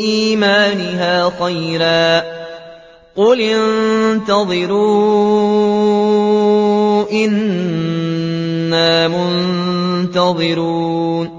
إِيمَانِهَا خَيْرًا ۗ قُلِ انتَظِرُوا إِنَّا مُنتَظِرُونَ